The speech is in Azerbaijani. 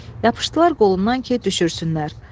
Yapışdılar qolundan ki, düşürsünlər.